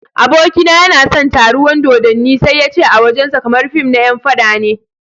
Abokina yana son taruwan dodanni sai yace a wajen sa kamar fim na yan faɗa ne.